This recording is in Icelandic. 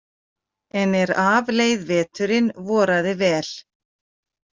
En er af leið veturinn voraði vel.